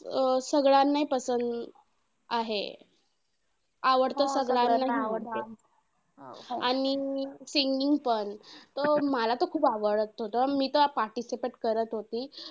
अं सगळ्यांना आहे. आवडतं सगळ्यांना णि singing पण. तर मला तर खूप आवडत होतं मी तर participate करत होते.